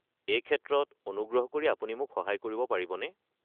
এই ক্ষেত্ৰত অনুগ্ৰহ কৰি আপুনি মোক সহায় কৰিব পাৰিবনে?